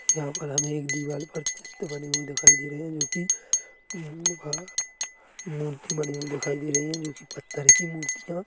यहाँ पर हमे एक दिवार पर चित्र बने हुई दिखाई दे रहे हैं जो कि अम्म अअअ मूर्ति बनी हुई दिखाई दे रही हैं जो कि पत्थर की मूर्तियां--